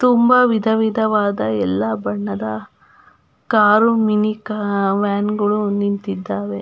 ತುಂಬ ವಿಧ ವಿಧವಾದ ಎಲ್ಲ ಬಣ್ಣದ ಕಾರು ಮಿನಿ ವ್ಯಾನ್ಗಳು ನಿಂತಿದ್ದಾವೆ.